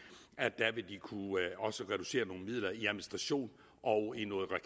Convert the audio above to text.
i kunne reducere nogle midler i administration og